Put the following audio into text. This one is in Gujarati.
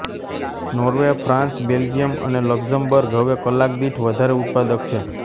નોર્વે ફ્રાન્સ બેલ્જીયમ અને લક્ઝમબર્ગ હવે કલાક દીઠ વધારે ઉત્પાદક છે